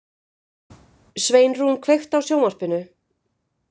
Sveinrún, kveiktu á sjónvarpinu.